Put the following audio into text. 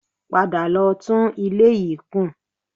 Padà lọ tún ilé yìí kùn